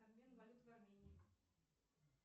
обмен валют в армении